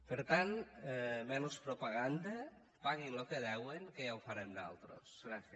per tant menys propaganda paguin lo que deuen que ja ho farem nosaltres